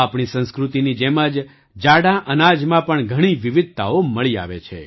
આપણી સંસ્કૃતિની જેમ જ જાડાં અનાજમાં પણ ઘણી વિવિધતાઓ મળી આવે છે